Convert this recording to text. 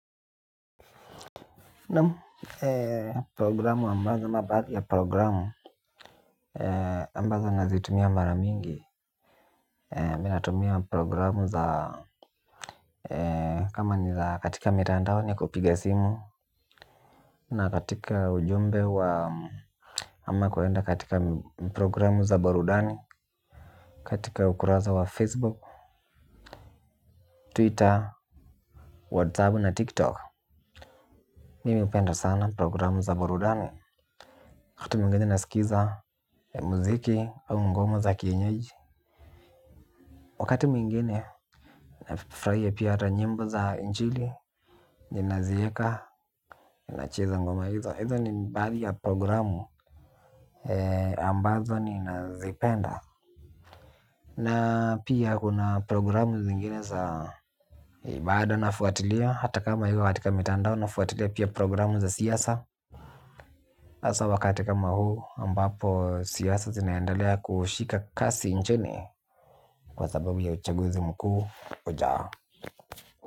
Naam programu ambazo ama baadhi ya programu ambazo nazitumia mara mingi. Mi natumia programu za kama ni za katika mitandao ni kupiga simu. Na katika ujumbe wa ama kuenda katika programu za burudani. Katika ukurasa wa facebook, twitter, whatsapp na tiktok mimi hupenda sana programu za burudani wakati mwingine nasikiza muziki au ngoma za kienyeji. Wakati mwingine nafurahia hata nyimbo za injili, naziweka ninacheza ngoma hizo, hizo ni baadhi za programu ambazo ninazipenda. Na pia kuna programu zingine za ibada nafuatilia. Hata kama haiko katika mitandao nafuatilia pia programu za siasa. Hasaa wakati kama huu ambapo siasa zinaendelea kushika kasi nchini kwa sababunya uchaguzi mkuu ujao.